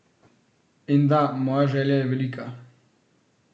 In da, moja želja je velika.